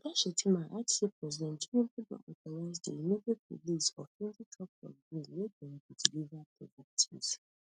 oga shettima add say president tinubu don authorise di immediate release of twenty trucks of grains wey dem go deliver to victims